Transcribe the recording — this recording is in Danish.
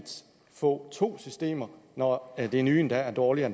få to systemer når det nye endda er dårligere